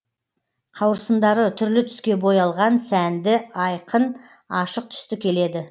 қауырсындары түрлі түске боялған сәнді айқын ашық түсті келеді